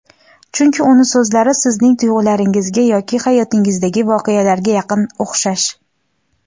chunki uni so‘zlari sizning tuyg‘ularingizga yoki hayotingizdagi voqealarga yaqin, o‘xshash.